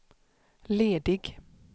ledig